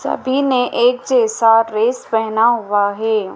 सभी ने एक जैसा ड्रेस पहना हुआ है।